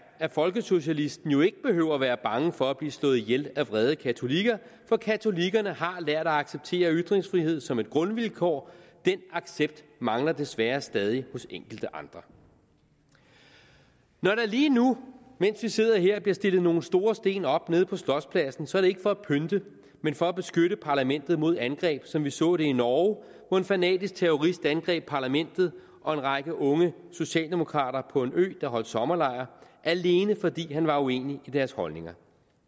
at folkesocialisten jo ikke behøver at være bange for at blive slået ihjel af vrede katolikker for katolikkerne har lært at acceptere ytringsfrihed som et grundvilkår den accept mangler desværre stadig hos enkelte andre når der lige nu mens vi sidder her bliver stillet nogle store sten op nede på slotspladsen er det ikke for at pynte men for at beskytte parlamentet mod angreb som vi så det i norge hvor en fanatisk terrorist angreb parlamentet og en række unge socialdemokrater på en ø hvor de holdt sommerlejr alene fordi han var uenig i deres holdninger